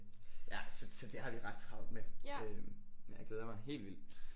Ja så så så det har vi ret travlt med øh men jeg glæder mig helt vildt